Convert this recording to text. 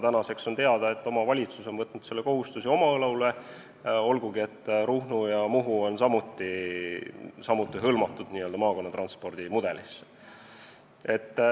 Nüüdseks on teada, et omavalitsus on võtnud selle kohustuse oma õlule, olgugi et ka Ruhnu ja Muhu on haaratud maakonnatranspordi mudelisse.